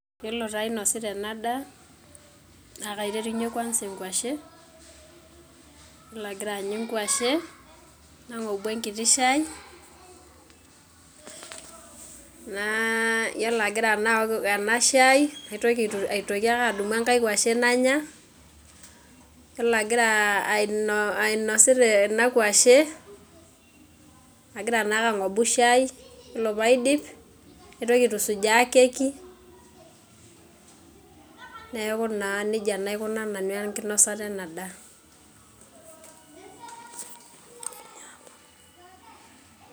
Iyiolo taa ainosita ena daa naa maiterunye kuansa enkwashe, iyiolo agira aanyu enkwashe nagobu enkiti shai, na iyiolo naa agira aok ena shai, naitoki ake adumu enkae kwashe nanya, iyiolo ainosita ena. Kwashe agira naake agobu shai, ore pee aidip, naitoki aitusujaa keki, neeku naa nejia naa aikunaa nanu enkinosata ena daa.